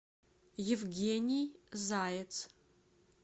евгений заяц